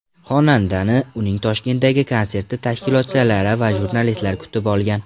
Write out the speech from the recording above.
Xonandani uning Toshkentdagi konserti tashkilotchilari va jurnalistlar kutib olgan.